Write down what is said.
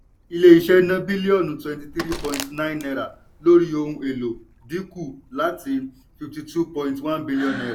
ilé iṣẹ́ ná bílíọ̀nù twenty three point nine náírà lórí ohun èlò dínkù láti fifty two point one billion naira